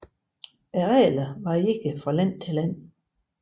Reglerne varierer fra land til land